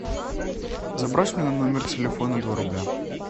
забрось мне на номер телефона два рубля